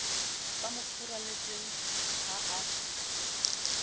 ba mo furalletseng ha a